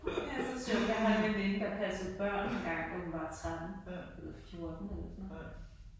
Det er så sjovt jeg har en veninde der passede børn engang hun var 13 eller 14 eller sådan noget